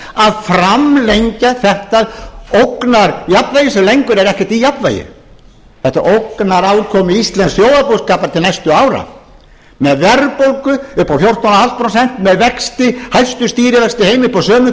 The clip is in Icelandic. að framlengja þetta ógnarjafnvægi sem lengur er ekki í jafnvægi þetta ógnar afkomu íslensks þjóðarbúskapar til næstu ára með verðbólgu upp á fjórtán komma fimm prósent með vexti hæstu stýrivexti í heimi upp á sömu